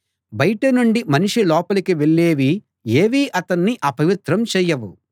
బయట నుండి మనిషి లోపలికి వెళ్ళేవి ఏవీ అతన్ని అపవిత్రం చేయవు